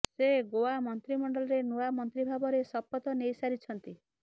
ସେ ଗୋଆ ମନ୍ତ୍ରୀମଣ୍ଡଳରେ ନୂଆ ମନ୍ତ୍ରୀ ଭାବରେ ଶପଥ ନେଇସାରିଛନ୍ତି